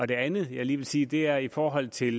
det andet jeg lige vil sige det er i forhold til